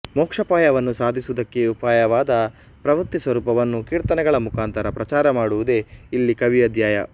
ಮೋಕ್ಷೋಪಾಯವನ್ನು ಸಾಧಿಸುವುದಕ್ಕೆ ಉಪಾಯವಾದ ಪ್ರಪತ್ತಿಸ್ವರೂಪವನ್ನು ಕೀರ್ತನೆಗಳ ಮುಖಾಂತರ ಪ್ರಚಾರ ಮಾಡುವುದೇ ಇಲ್ಲಿ ಕವಿಯ ಧ್ಯೇಯ